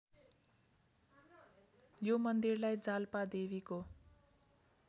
यो मन्दिरलाई जालपादेवीको